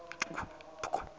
yemaphoyisa